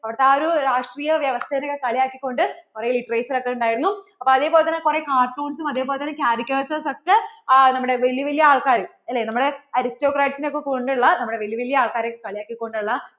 അവിടെ ആ ഒരു രാഷ്ട്രീയ വ്യവസ്ഥേനെ ഒക്കെ കളിയാക്കികൊണ്ട് കുറേ literature ഒക്കെ ഉണ്ടായിരുന്നു അപ്പോൾ അതേപോലെ തന്നെ കുറേ cartoons ഉം അതേപോലെ തന്നെ കുറേ caricature ഒക്കെ നമ്മടെ വെല്യ വെല്യ ആൾകാര് നമ്മളെ അല്ലേ നമ്മുടെ Aristocrat നെ ഒക്കെ പോലുള്ള നമ്മടെ വെല്യ വെല്യ ആള്‍ക്കാരെയൊക്കെ കളിയാക്കികൊണ്ടുള്ള